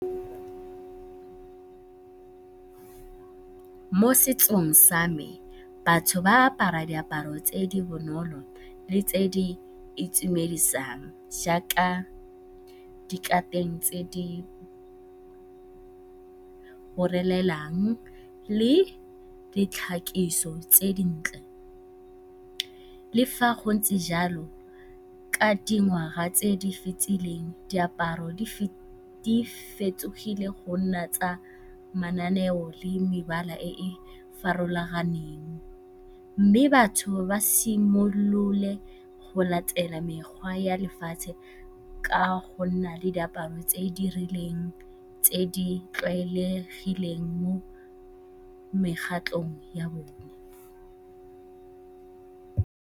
Mo setsong sa me, batho ba apara diaparo tse di bonolo le tse di itumedisang jaaka dikateng tse di go le ditlhakiso tse di ntle. Le fa go ntse jalo, ka dingwaga tse di fetileng, diaparo di fetogile go nna tsa mananeo le mebala e e farologaneng mme batho ba simolole go latela mekgwa ya lefatshe ka go nna le diaparo tse di rileng tse di tlwaelegileng mo mekgatlhong ya bone.